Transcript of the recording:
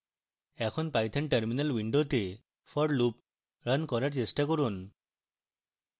এখন python terminal window for loop run করার চেষ্টা করি